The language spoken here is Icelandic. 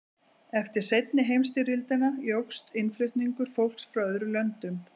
eftir seinni heimsstyrjöldina jókst innflutningur fólks frá öðrum löndum